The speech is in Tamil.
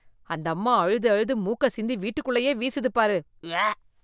அந்தம்மா அழுது அழுது மூக்க சிந்தி வீட்டுக்குள்ளயே வீசுதுப் பாரு உவ்வ.